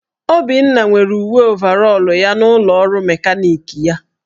Obinna nwere uwe ovarọl ya n'ụlọọrụ mekaniki ya.